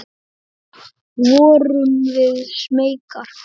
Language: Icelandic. Vorum við smeykar?